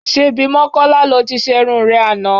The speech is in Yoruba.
Ṣebí Mọ́kọ́lá lo ti ṣerun rẹ àná?